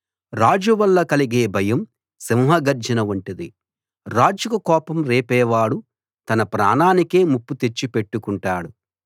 రాజు వల్ల కలిగే భయం సింహగర్జన వంటిది రాజుకు కోపం రేపే వాడు తన ప్రాణానికే ముప్పు తెచ్చిపెట్టుకుంటాడు